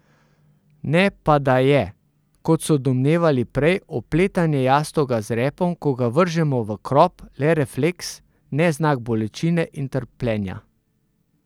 Ne pa da je, kot so domnevali prej, opletanje jastoga z repom, ko ga vržemo v krop, le refleks, ne znak bolečine in trpljenja.